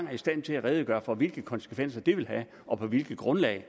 er i stand til at redegøre for hvilke konsekvenser det vil have og på hvilket grundlag